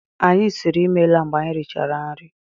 Anyị siiri ịmela mgbe anyị richara nri.